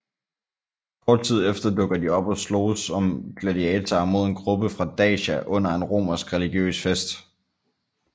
Kort tid efter dukker de op og sloges som gladiatorer mod en gruppe fra Dacia under en romersk religiøs fest